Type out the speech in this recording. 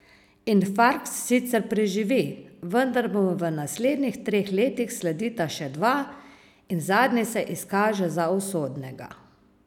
Infarkt sicer preživi, vendar mu v naslednjih treh letih sledita še dva, in zadnji se izkaže za usodnega.